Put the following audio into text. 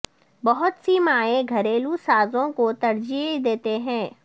بہت سی مائیں گھریلو سازوں کو ترجیح دیتے ہیں